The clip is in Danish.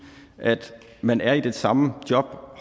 at man er i det samme job